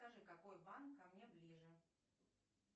скажи какой банк ко мне ближе